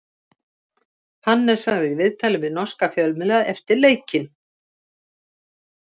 Hannes sagði í viðtali við norska fjölmiðla eftir leikinn: